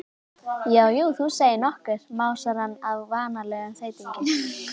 Já, jú, þú segir nokkuð, másar hann á vanalegum þeytingi.